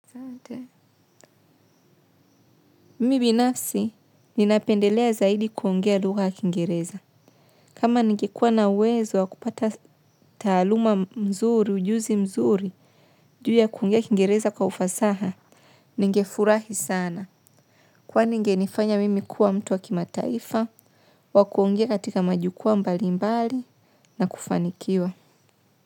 Mimibinafsi, ninapendelea zaidi kuongea luga yakingereza. Kama nigekuwa na uwezo wa kupata taaluma mzuri, ujuzi mzuri, ju ya kuongea yakingereza kwa ufasaha, ninge furahi sana. Kwa ni ingenifanya mimi kuwa mtu wa kima taifa, wa kuongea katika majukwaa mbali mbali, na kufanikiwa.